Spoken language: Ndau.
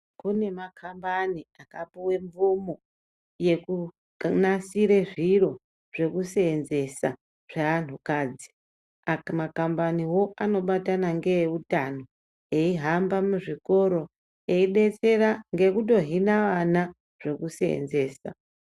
Kune makambani akapuwe mvumo yekunasire zviro zvekuseenzesa zvaantukadzi. Makambaniwo anobatana ngeveutano veihamba muzvikora veidetsera ngekutohina vana zvekuseenzesa.